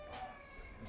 Opa.